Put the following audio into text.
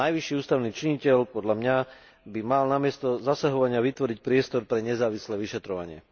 Najvyšší ústavný činiteľ, podľa mňa, by mal namiesto zasahovania vytvoriť priestor pre nezávislé vyšetrovanie.